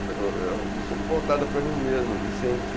um pouco voltada para mim mesmo, de sentir